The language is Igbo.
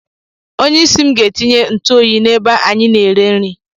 Onyeisi m ga-etinye ntụoyi n'ebe anyị na-ere nri.